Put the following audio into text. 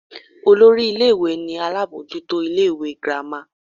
Olori ìlé-ìwé ni alabọjuto ìlé-ìwé gírama.